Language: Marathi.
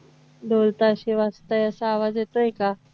ढोलताशे वाजतायत असा आवाज येतोय का